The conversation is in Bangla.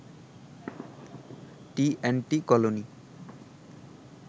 T and T colony